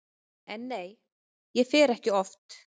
En nei, ég fer ekki oft.